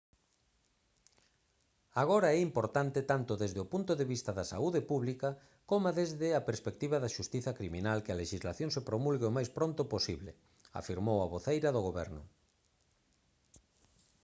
agora é importante tanto desde o punto de vista da saúde pública coma desde a perspectiva da xustiza criminal que a lexislación se promulgue o máis pronto posible afirmou a voceira do goberno